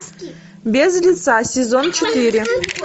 без лица сезон четыре